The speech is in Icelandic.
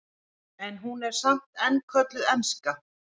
en hún er samt enn kölluð enska